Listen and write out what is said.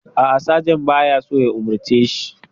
A'a, sajan ba ya so ya umarce shi.